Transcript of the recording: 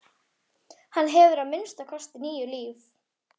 Hann hefur að minnsta kosti níu líf.